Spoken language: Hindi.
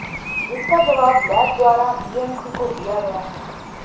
जिसका जवाब लैब द्वारा बीएमसी को दिया गया है